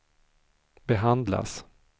behandlas